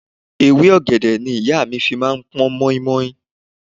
Ewé ọ̀gẹ̀dẹ̀ ni ìyá mi fi máa ń pọn mọ́í-mọ́í.